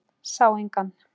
Sá engan.